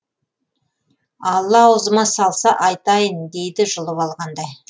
алла аузыма салса айтайын дейді жұлып алғандай